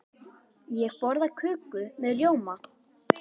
Ég borða köku með rjóma.